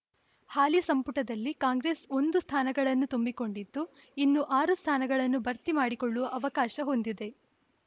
ಹಾಲಿ ಸಂಪುಟದಲ್ಲಿ ಕಾಂಗ್ರೆಸ್‌ ಒಂದು ಸ್ಥಾನಗಳನ್ನು ತುಂಬಿಕೊಂಡಿದ್ದು ಇನ್ನು ಆರು ಸ್ಥಾನಗಳನ್ನು ಭರ್ತಿ ಮಾಡಿಕೊಳ್ಳುವ ಅವಕಾಶ ಹೊಂದಿದೆ